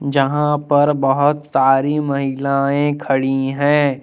यहां पर बहोत सारी महिलाएं खड़ी हैं।